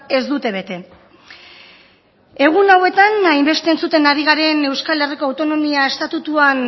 ez dute bete egun hauetan hainbeste entzuten ari garen euskal herriko autonomia estatutuan